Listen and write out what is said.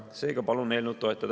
Seega palun eelnõu toetada.